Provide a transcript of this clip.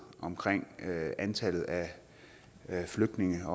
om antallet af flygtninge